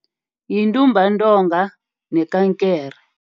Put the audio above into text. Yintumbantonga nekankere.